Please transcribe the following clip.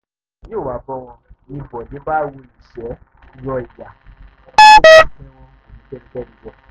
faith adébọlá yòówá bò wọ́n ní bóde bá ro iṣẹ́ rọ ìyà bó bá pẹran kò ní í fẹ́nìkan jẹ́